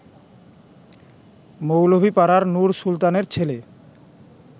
মৌলভীপাড়ার নুর সুলতানের ছেলে